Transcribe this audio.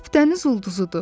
Lap dəniz ulduzudur.